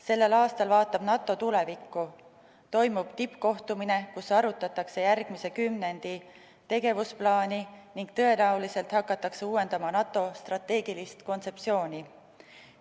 Sellel aastal vaatab NATO tulevikku, toimub tippkohtumine, kus arutatakse järgmise kümnendi tegevusplaani ning tõenäoliselt hakatakse uuendama NATO strateegilist kontseptsiooni.